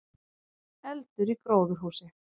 Eldur í gróðurhúsi